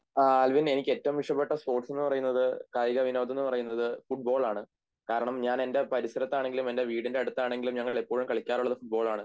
Alvin എനിക്ക് ഏറ്റവും ഇഷ്ടപ്പെട്ട സ്പോർട്സ് എന്നുപറയുന്നത് കായികവിനോദമെന്നു പറയുന്നത് ഫുട്ബോളാണ് കാരണം ഞാൻ എൻറെ പരിസരത്ത് ആണെങ്കിലും എൻറെ വീടിൻറെ അടുത്ത് ആണെങ്കിലും ഞങ്ങളെപ്പോഴും കളിക്കാറുള്ളത് ഫുട്ബോളാണ്